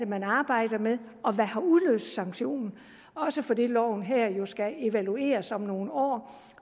man arbejder med og hvad der har udløst sanktionen også fordi loven her jo skal evalueres om nogle år